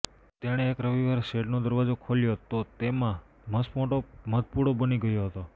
તેણે એક રવિવારે શેડનો દરવાજો ખોલ્યો તો એમાં મસમોટો મધપૂડો બની ગયો હતો